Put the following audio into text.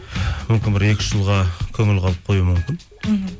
мүмкін бір екі үш жылға көңіл қалып қоюы мүмкін мхм